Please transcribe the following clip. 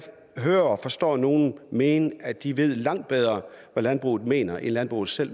kan høre og forstå at nogle mener at de ved langt bedre hvad landbruget mener end landbruget selv